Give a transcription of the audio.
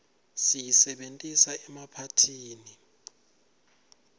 siyisebentisa emaphathini